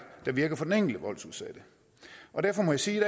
der virker for den enkelte voldsudsatte derfor må jeg sige i